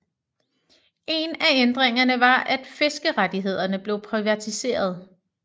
En af ændringerne var at fiskerettighederne blev privatiserede